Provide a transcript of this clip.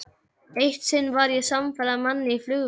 Eitt sinn var ég samferða manni í flugvél.